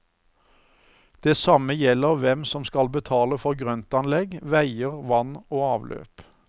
Det samme gjelder hvem som skal betale for grøntanlegg, veier, vann og avløp.